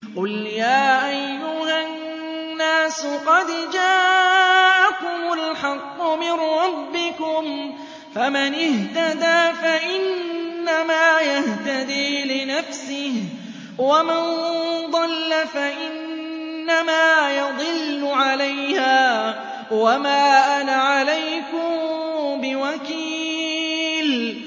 قُلْ يَا أَيُّهَا النَّاسُ قَدْ جَاءَكُمُ الْحَقُّ مِن رَّبِّكُمْ ۖ فَمَنِ اهْتَدَىٰ فَإِنَّمَا يَهْتَدِي لِنَفْسِهِ ۖ وَمَن ضَلَّ فَإِنَّمَا يَضِلُّ عَلَيْهَا ۖ وَمَا أَنَا عَلَيْكُم بِوَكِيلٍ